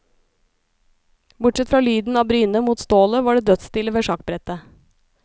Bortsett fra lyden av brynet mot stålet var det dødsstille ved sjakkbrettet.